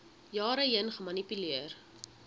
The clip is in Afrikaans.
jare heen gemanipuleer